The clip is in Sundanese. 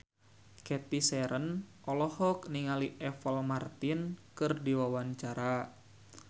Cathy Sharon olohok ningali Apple Martin keur diwawancara